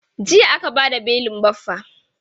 Jiya aka bada belin Baffa.